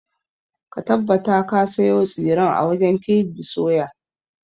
Ka tabbata ka sayo tsiren a wajen KB soya!